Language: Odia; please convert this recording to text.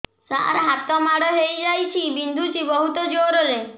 ସାର ହାତ ମାଡ଼ ହେଇଯାଇଛି ବିନ୍ଧୁଛି ବହୁତ ଜୋରରେ